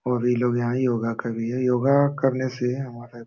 और ये लोग यहाँ योग कर रही है। योग करने से हमारा --